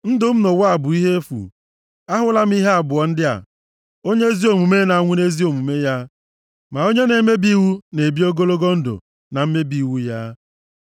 Ndụ m nʼụwa a bụ ihe efu, ahụla m ihe abụọ ndị a; onye ezi omume na-anwụ nʼezi omume ya, ma onye na-emebi iwu na-ebi ogologo ndụ na mmebi iwu ya.